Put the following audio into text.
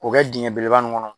K'o kɛ dingɛ belebeleba nun kɔnɔ.